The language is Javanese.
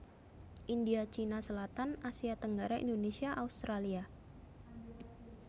India Cina selatan Asia tenggara Indonesia Australia